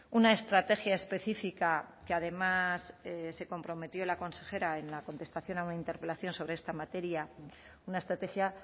una estrategia específica que además se comprometió la consejera en la contestación a una interpelación sobre esta materia una estrategia